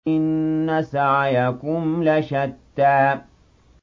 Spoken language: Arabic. إِنَّ سَعْيَكُمْ لَشَتَّىٰ